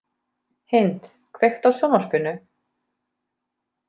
Hind, kveiktu á sjónvarpinu.